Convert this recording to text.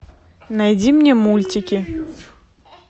найди мне мультики